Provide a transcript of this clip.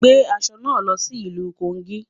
Gbé aṣọ náà lọ sí ìlú Kogi